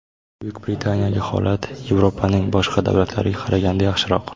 Buyuk Britaniyadagi holat Yevropaning boshqa davlatlariga qaraganda yaxshiroq .